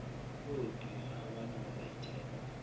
oogqirha abanalo ithemba